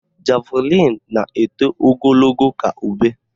Javlịn na-eto ogologo ka ube